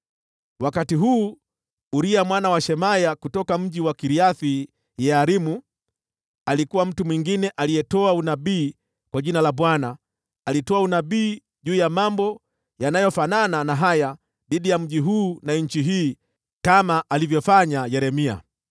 (Wakati huu, Uria mwana wa Shemaya kutoka mji wa Kiriath-Yearimu alikuwa mtu mwingine aliyetoa unabii kwa jina la Bwana . Alitoa unabii juu ya mambo yaliyofanana na haya dhidi ya mji huu na nchi hii kama alivyofanya Yeremia.